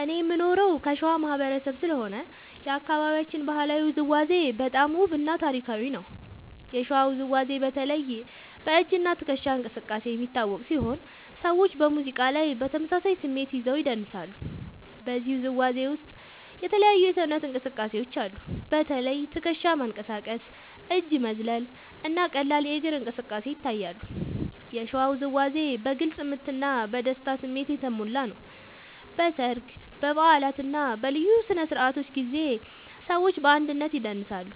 እኔ የምኖረው ከሸዋ ማህበረሰብ ስለሆነ የአካባቢያችን ባህላዊ ውዝዋዜ በጣም ውብ እና ታሪካዊ ነው። የሸዋ ውዝዋዜ በተለይ በ“እጅ እና ትከሻ እንቅስቃሴ” የሚታወቅ ሲሆን ሰዎች በሙዚቃ ላይ በተመሳሳይ ስሜት ይዘው ይደንሳሉ። በዚህ ውዝዋዜ ውስጥ የተለያዩ የሰውነት እንቅስቃሴዎች አሉ። በተለይ ትከሻ መንቀሳቀስ፣ እጅ መዝለል እና ቀላል እግር እንቅስቃሴ ይታያሉ። የሸዋ ውዝዋዜ በግልጽ ምት እና በደስታ ስሜት የተሞላ ነው። በሰርግ፣ በበዓላት እና በልዩ ስነ-ስርዓቶች ጊዜ ሰዎች በአንድነት ይደንሳሉ።